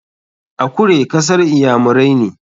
Akure kasar iyamirai ne.